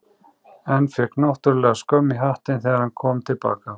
En fékk náttúrlega skömm í hattinn þegar hann kom til baka.